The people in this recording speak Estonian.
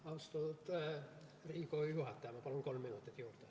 Austatud Riigikogu juhataja, ma palun kolm minutit juurde.